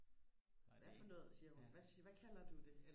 hvad for noget siger hun hvad hvad kalder du det